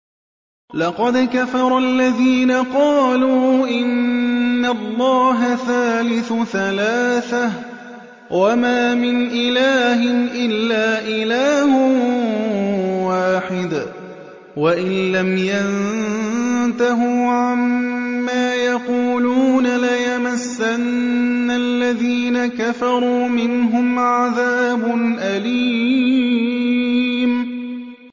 لَّقَدْ كَفَرَ الَّذِينَ قَالُوا إِنَّ اللَّهَ ثَالِثُ ثَلَاثَةٍ ۘ وَمَا مِنْ إِلَٰهٍ إِلَّا إِلَٰهٌ وَاحِدٌ ۚ وَإِن لَّمْ يَنتَهُوا عَمَّا يَقُولُونَ لَيَمَسَّنَّ الَّذِينَ كَفَرُوا مِنْهُمْ عَذَابٌ أَلِيمٌ